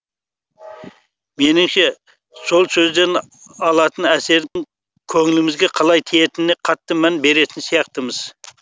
меніңше сол сөзден алатын әсердің көңілімізге қалай тиетініне қатты мән беретін сияқтымыз